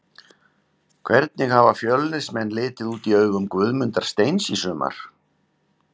Hvernig hafa Fjölnismenn litið út í augum Guðmundar Steins í sumar?